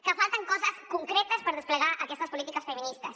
que falten coses concretes per desplegar aquestes polítiques feministes